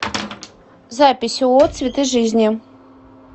запись ооо цветы жизни